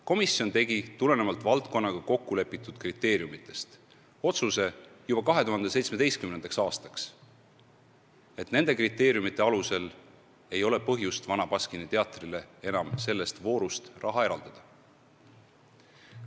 Komisjon tegi tulenevalt valdkonnaga kokkulepitud kriteeriumitest otsuse juba 2017. aastaks, et nende kriteeriumite alusel ei ole põhjust Vana Baskini Teatrile enam selles voorus raha eraldada.